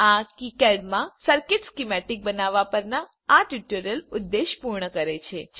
આ કિકાડ માં circuit schematic બનાવવા પરના આ ટ્યુટોરીયલનું ઉદ્દેશ પૂર્ણ કરે છે